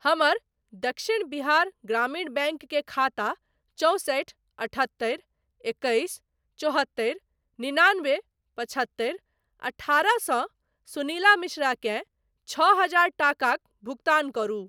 हमर दक्षिण बिहार ग्रामीण बैंक के खाता चौंसठि अठहत्तरि एकैस चौहत्तरि निनानबे पचहत्तरि अठारह सँ सुनीला मिश्रा केँ छओ हजार टाकाक भुगतान करू।